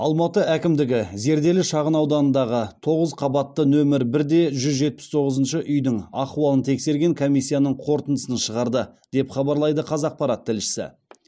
алматы әкімдігі зерделі шағынауданындағы тоғыз қабатты нөмір бір де жүз жетпіс тоғызыншы үйдің ахуалын тексерген комиссияның қорытындысын шығарды деп хабарлайды қазақпарат тілшісі